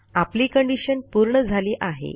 आपली कंडिशन पूर्ण झाली आहे